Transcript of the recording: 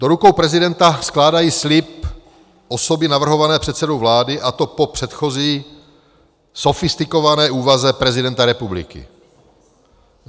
Do rukou prezidenta skládají slib osoby navrhované předsedou vlády, a to po předchozí sofistikované úvaze prezidenta republiky.